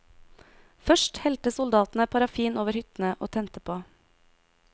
Først helte soldatene parafin over hyttene og tente på.